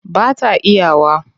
Ba ta iya wa.